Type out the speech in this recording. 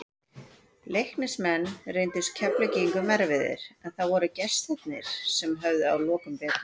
Leiknismenn reyndust Keflvíkingum erfiðir, en það voru gestirnir sem höfðu að lokum betur.